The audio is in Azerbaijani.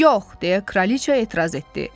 Yox, deyə kraliçə etiraz etdi.